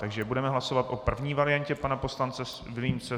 Takže budeme hlasovat o první variantě pana poslance Vilímce.